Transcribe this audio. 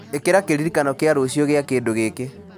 ikĩra kĩririkano kĩa rũciũ gĩa kĩndũ gĩkĩ